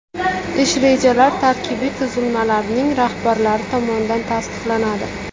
Ish rejalar tarkibiy tuzilmalarning rahbarlari tomonidan tasdiqlanadi.